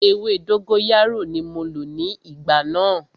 Ewé dógóyárò ní mo lò ní ìgbà náà.